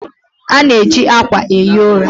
A na-eji akwa ehi ụra.